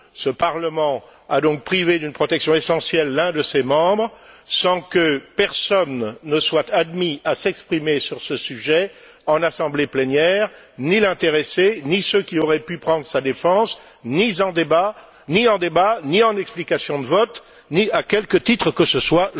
Ce Parlement a donc privé d'une protection essentielle l'un de ses membres sans que personne ne soit admis à s'exprimer sur ce sujet en assemblée plénière, ni l'intéressé, ni ceux qui auraient pu prendre sa défense, ni en débat, ni en explication de vote, ni à quelque titre que ce soit.